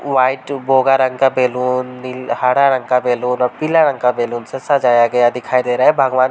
White बोगा रंग का बैलून नील हरा रंग का बैलून और पीला रंग का बैलून से सजाया गया दिखाई दे रहा है। भगवान --